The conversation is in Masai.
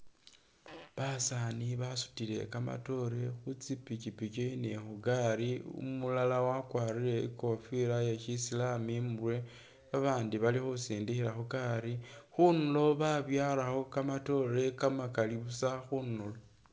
Basani basutile kamatoore khu tsi pichipichi ni khu tsigali, umulala wakwarire ingofila iye shisilamu imurwe, ba bandi bali khusindikhila khu gali, khundulo babyalakho kamatoore kamakali busa khundulo.